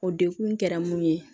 O dekun kɛra mun ye